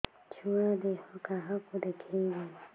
ଛୁଆ ଦେହ କାହାକୁ ଦେଖେଇବି